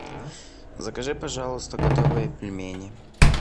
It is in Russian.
закажи пожалуйста готовые пельмени